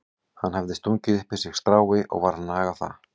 Hann hafði stungið upp í sig strái og var að naga það.